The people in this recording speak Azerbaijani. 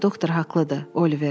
Doktor haqlıdır, Oliver.